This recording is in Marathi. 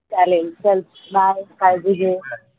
चालेल चल bye काळजी